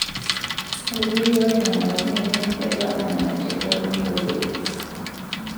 Etejoki ore nena pokirare negira duo amera teboo e nkoteli.